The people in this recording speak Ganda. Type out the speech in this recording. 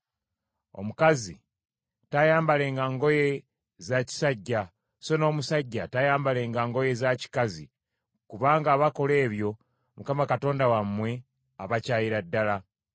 Omukazi taayambalenga ngoye za kisajja, so n’omusajja taayambalenga ngoye za kikazi; kubanga abakola ebyo Mukama Katonda wammwe abakyayira ddala.